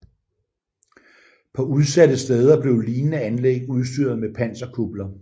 På udsatte steder blev lignende anlæg udstyret med panserkupler